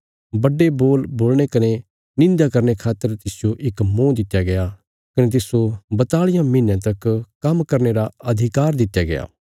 बड्डे बोल बोलणे कने निंध्या करने खातर तिसजो इक मुँह दित्या गया कने तिस्सो बताल़ियां महीनयां तक काम्म करने रा अधिकार दित्या गया